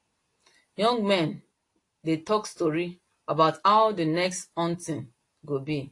young men dey talk story about how the next hunting go be